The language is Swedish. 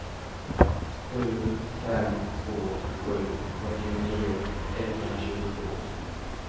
sju fem två sju fyrtionio etthundratjugotvå